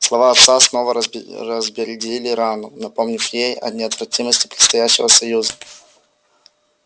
слова отца снова разбередили рану напомнив ей о неотвратимости предстоящего союза